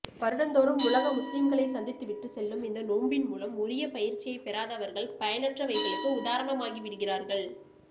வருடந்தோரும் உலக முஸ்லிம்களை சந்தித்து விட்டு செல்லும் இந்த நோன்பின் மூலம் உரிய பயிற்சியைப் பெறாதவர்கள் பயனற்றவைகளுக்கு உதாரணமாகி விடுகிறார்கள்